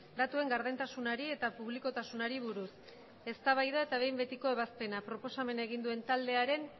datuen gardentasunari eta publikotasunari buruz eztabaida eta behin betiko ebazpena proposamena egin duen taldearen